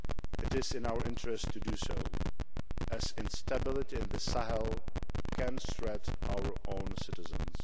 It is in our interests to do so, as instability in the Sahel can threaten our own citizens.